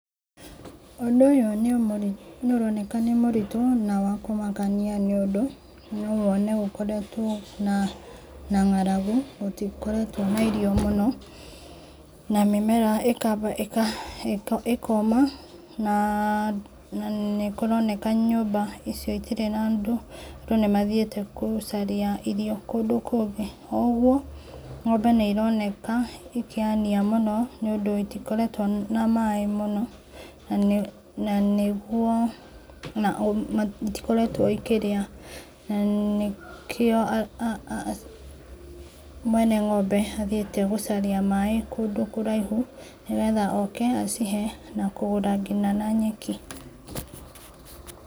Ũndũ ũyũ nĩũroneka nĩ mũritũ na wakũmakania, nĩũndũ no wone gũkoretwo na na ng'aragu, gũtikoretwo na irio mũno na mĩmera ĩkamba ĩka ĩkoma na nĩkũroneka nyũmba icio itikoretwo na andũ, andũ nĩmathiĩte gũcaria irio kũndũ kũngĩ. O ũguo ng'ombe nĩironeka ikĩania mũno, nĩ ũndũ itikoretwo na maĩ mũno, na nĩguo na itikoretwo ikĩrĩa. Na nĩkĩo mwene ng'ombe athiĩte gũcaria maĩ kũndũ kũraihũ, nĩgetha oke acihe na kũgũra nginya na nyeki.